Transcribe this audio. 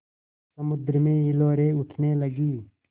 समुद्र में हिलोरें उठने लगीं